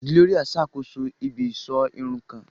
Gloria n sakoso ibi-iṣọ irun kan.